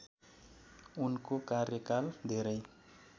उनको कार्यकाल धेरै